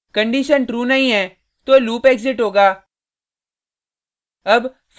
condition true नहीं है तो लूप एग्जिट होगा